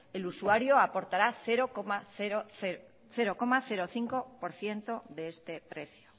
el usuario aportará cero coma cinco por ciento de este precio